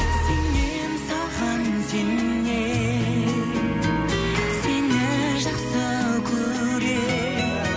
сенем саған сенем сені жақсы көрем